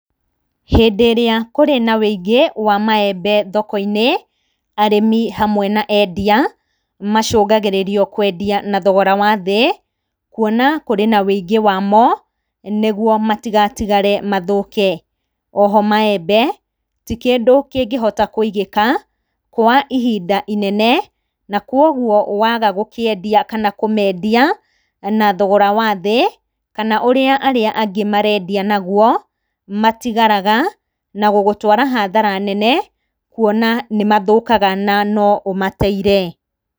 Hĩndĩ ĩrĩa kũrĩ na wĩingĩ wa maembe thoko-inĩ, arĩmi hamwe na endia, macungagĩrĩrio kwendia na thogora wathĩ, kuona kũrĩ na wĩingĩ wamo, nĩguo matigatigare mathũke. Oho maembe, tikĩndũ kĩngĩhota kwĩigĩka, kwa ihinda inene na kwoguo, waga gũkĩendia kana kũmendia, na thogora wathĩ kana ũrĩa arĩa angĩ marendia naguo, matigaraga, na gũgũtwara hathara nene, kuona nĩ mathũkaga na noũmateire.